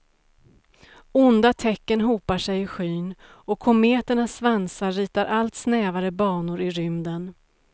Onda tecken hopar sig i skyn, och kometernas svansar ritar allt snävare banor i rymden.